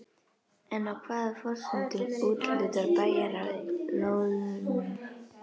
En á hvaða forsendum úthlutar bæjarráð lóðunum?